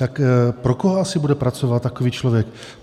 Tak pro koho asi bude pracovat takový člověk?